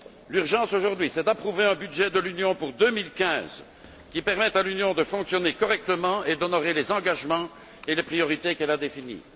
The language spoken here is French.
L'urgence, aujourd'hui, c'est d'approuver un budget de l'Union pour 2015 qui permette à l'Union de fonctionner correctement et d'honorer les engagements et les priorités qu'elle a définis.